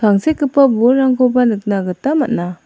tangsekgipa bolrangkoba nikna gita man·a.